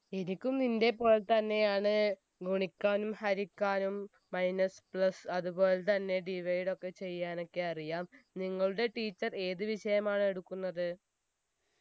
എനിക്കും നിന്റെ പോലെത്തന്നെയാണ് ഗുണിക്കാനും ഹരിക്കാനും minus plus അതുപോലതന്നെ divide ഒക്കെ ചെയ്യാനൊക്കെ അറിയാം നിങ്ങളുടെ teacher ഏത് വിഷയമാണ് എടുക്കുന്നത്